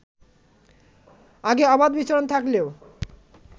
আগে অবাধ বিচরণ থাকলেও